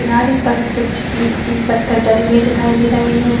किनारे पर कुछ मिट्टी पत्थर डलें हुए दिखाई दे रही हैं।